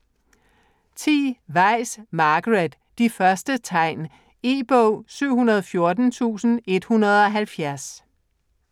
Weis, Margaret: De første tegn E-bog 714170